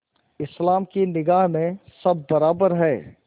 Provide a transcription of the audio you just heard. इस्लाम की निगाह में सब बराबर हैं